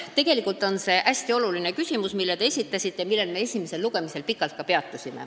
Tegelikult on see hästi oluline küsimus, mille te esitasite ja millel me ka esimesel lugemisel pikalt peatusime.